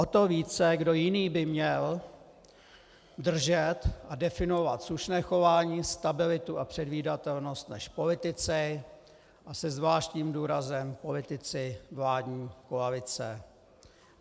O to více kdo jiný by měl držet a definovat slušné chování, stabilitu a předvídatelnost než politici, a se zvláštním důrazem politici vládní koalice?